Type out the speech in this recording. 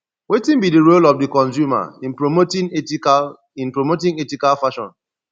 wetin be di role of di consumer in promoting ethical in promoting ethical fashion